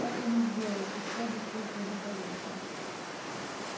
так он и сделал и всё обошлось благополучно